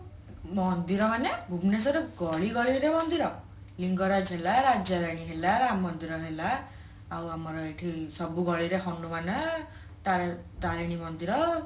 ମନ୍ଦିର ମାନେ ଭୂବନଶ୍ଵରରେ ଗଳିଗଳିରେ ମନ୍ଦିର ଲିଙ୍ଗରାଜ ହେଲା ରାଜାରାଣୀ ହେଲା ରାମ ମନ୍ଦିର ହେଲା ଆଉ ଆମର ଏଇଠି ସବୁ ଗଳିରେ ହନୁମାନ ତା ତାରିଣୀ ମନ୍ଦିର